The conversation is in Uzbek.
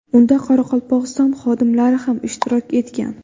Unda Qoraqalpog‘iston xodimlari ham ishtirok etgan.